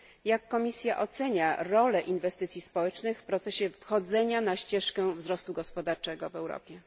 Jak Komisja ocenia rolę inwestycji społecznych w procesie wchodzenia na ścieżkę wzrostu gospodarczego w Europie?